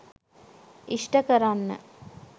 ඉෂ්ඨ කරන්න.